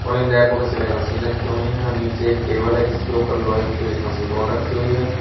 और इन रैकों में सिलाई मशीन रखी हुई हैं और नीचे एक टेबल है जिसके ऊपर लोहे की भी एक मशीन और रखी हुई है।